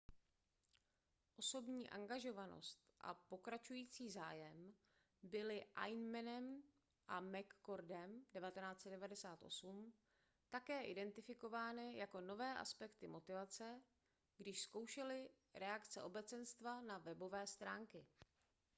osobní angažovanost a pokračující zájem byly eighmeym a mccordem 1998 také identifikovány jako nové aspekty motivace když zkoumali reakce obecenstva na webové stránky